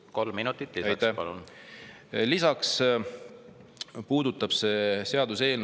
Kolm minutit lisaks, palun!